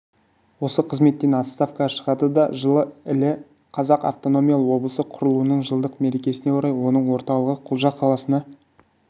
осы қызметтен отставкаға шығады да жылы іле қазақ автономиялы облысы құрылуының жылдық мерекесіне орай оның орталығы құлжа қаласына